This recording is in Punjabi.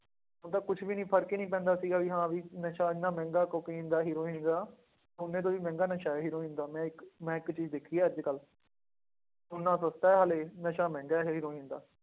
ਉਹਦਾ ਕੁਛ ਵੀ ਨੀ ਫ਼ਰਕ ਹੀ ਨੀ ਪੈਂਦਾ ਸੀਗਾ ਵੀ ਹਾਂ ਵੀ ਨਸ਼ਾ ਇੰਨਾ ਮਹਿੰਗਾ ਕੋਕੇਨ ਦਾ ਹੀਰੋਇਨ ਦਾ, ਸੋਨੇ ਤੋਂ ਵੀ ਮਹਿੰਗਾ ਨਸ਼ਾ ਹੀਰੋਇਨ ਦਾ ਮੈਂ ਇੱਕ ਮੈਂ ਇੱਕ ਚੀਜ਼ ਦੇਖੀ ਹੈ ਅੱਜ ਕੱਲ੍ਹ ਸੋਨਾ ਸਸਤਾ ਹੈ ਹਾਲੇ ਨਸ਼ਾ ਮਹਿੰਗਾ ਹੈ ਹੀਰੋਇਨ ਦਾ,